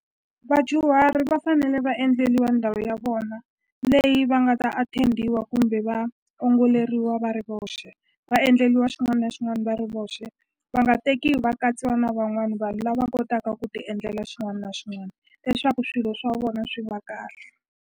Vadyuhari va fanele va endleliwa ndhawu ya vona leyi va nga ta attend-iwa kumbe va ongoleriwa va ri voxe va endleliwa xin'wana na xin'wana va ri voxe va nga tekiwi va katsiwa na van'wani vanhu lava kotaka ku ti endlela xin'wana na xin'wana leswaku swilo swa vona swi va kahle.